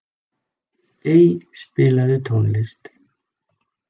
Ey, spilaðu tónlist.